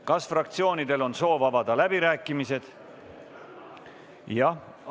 Kas fraktsioonidel on soov avada läbirääkimised?